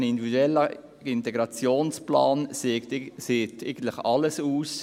Ein individueller Integrationsplan sagt eigentlich alles aus.